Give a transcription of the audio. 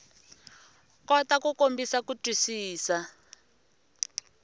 kota ku kombisa ku twisisa